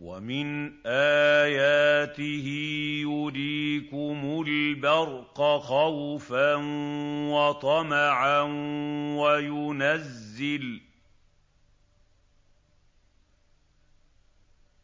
وَمِنْ آيَاتِهِ يُرِيكُمُ الْبَرْقَ خَوْفًا وَطَمَعًا